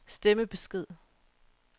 stemmebesked